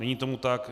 Není tomu tak.